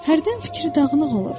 Hərdən fikri dağınıq olur.